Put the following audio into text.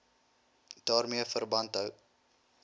daarmee verband hou